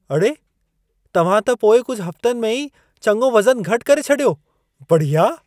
अड़े, तव्हां त पोएं कुझु हफ़्तनि में ई चङो वज़नु घटि करे छॾियो! बढ़िया!